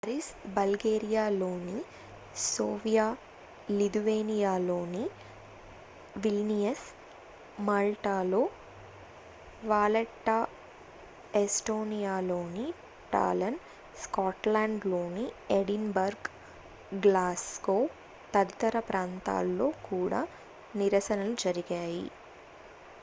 Paris బల్గేరియాలోని Sofia లిథువేనియాలోని Vilnius మాల్టాలో వాలెట్టా ఎస్టోనియాలోని టాలిన్ స్కాట్లాండ్ లోని ఎడిన్ బర్గ్ గ్లాస్గో తదితర ప్రాంతాల్లో కూడా నిరసనలు జరిగాయి